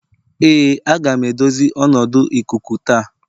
Ee aga m edozi ọnọdụ ikuku taa